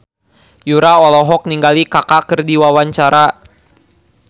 Yura olohok ningali Kaka keur diwawancara